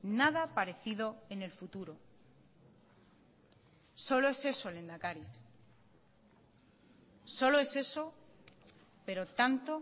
nada parecido en el futuro solo es eso lehendakari solo es eso pero tanto